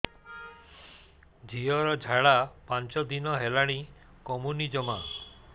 ଝିଅର ଝାଡା ପାଞ୍ଚ ଦିନ ହେଲାଣି କମୁନି ଜମା